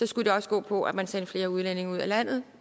skulle det også gå på at man sendte flere udlændinge ud af landet